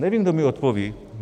Nevím, kdo mi odpoví.